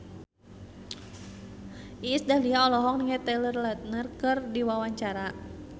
Iis Dahlia olohok ningali Taylor Lautner keur diwawancara